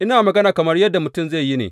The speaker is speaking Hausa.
Ina magana kamar yadda mutum zai yi ne.